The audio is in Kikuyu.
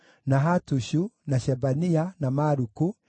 na Hatushu, na Shebania, na Maluku,